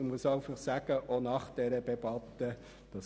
Ich muss einfach auch nach dieser Debatte sagen: